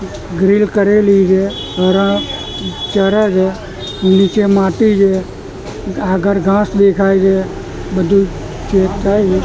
Grill કરેલી છે હરણ ચરે છે નીચે માટી છે આગળ ઘાસ દેખાય છે બધું ચેક થાય છે.